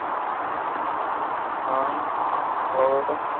ਆ ਹੋਰ